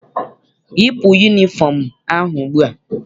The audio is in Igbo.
Yipu yunifọm ahụ ugbua!